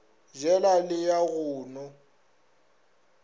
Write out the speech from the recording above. jela le ya go no